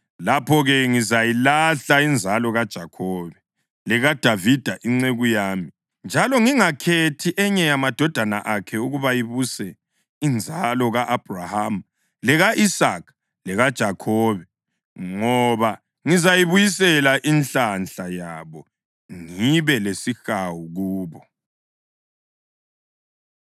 lapho-ke ngizayilahla inzalo kaJakhobe lekaDavida inceku yami njalo ngingakhethi enye yamadodana akhe ukuba ibuse inzalo ka-Abhrahama, leka-Isaka lekaJakhobe. Ngoba ngizabuyisela inhlanhla yabo ngibe lesihawu kubo.’ ”